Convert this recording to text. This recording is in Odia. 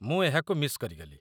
ମୁଁ ଏହାକୁ ମିସ୍ କରିଗଲି।